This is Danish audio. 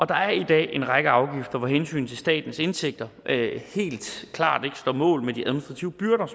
der er i dag en række afgifter hvor hensynet til statens indtægter helt klart ikke står mål med de administrative byrder